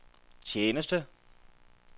tjeneste